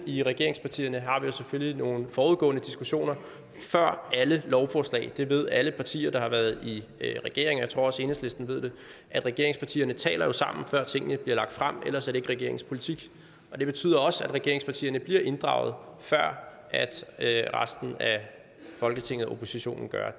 i regeringspartierne selvfølgelig nogle forudgående diskussioner om alle lovforslag det ved alle partier der har været i regering og jeg tror også at enhedslisten ved det regeringspartierne taler sammen før tingene bliver lagt frem ellers er det ikke regeringens politik og det betyder også at regeringspartierne bliver inddraget før resten af folketinget og oppositionen gør